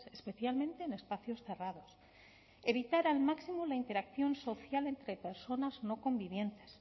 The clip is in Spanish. especialmente en espacios cerrados evitar al máximo la interacción social entre personas no convivientes